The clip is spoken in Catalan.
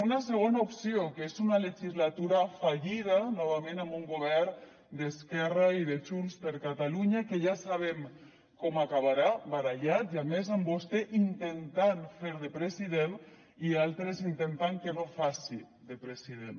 una segona opció que és una legislatura fallida novament amb un govern d’esquerra i de junts per catalunya que ja sabem com acabarà barallats i a més amb vostè intentant fer de president i altres intentant que no faci de president